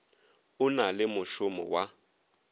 o na le mošomo wa